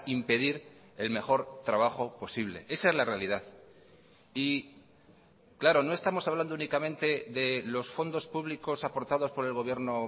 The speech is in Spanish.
impedir el mejor trabajo posible esa es la realidad y claro no estamos hablando únicamente de los fondos públicos aportados por el gobierno